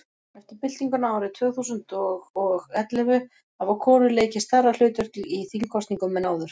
eftir byltinguna árið tvö þúsund og og ellefu hafa konur leikið stærra hlutverk í þingkosningum en áður